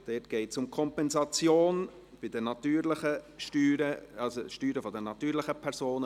dort geht es um die Kompensation bei den Steuern der natürlichen Personen.